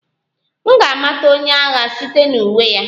M ga-amata onye agha site na uwe ya